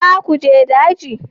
Za ku je daji?